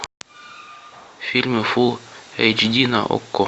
фильмы фул эйч ди на окко